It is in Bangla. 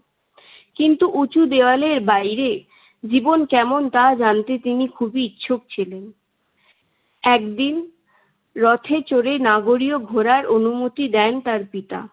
কিন্তু উঁচু দেওয়ালের বাইরে জীবন কেমন তা জানতে তিনি খুব ইচ্ছুক ছিলেন। একদিন রথে চড়ে নাগরীও ঘুরার অনুমতি দেন তার পিতা।